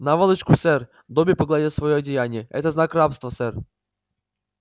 наволочку сэр добби погладил своё одеяние это знак рабства сэр